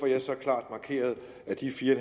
jeg så klart markeret at de fire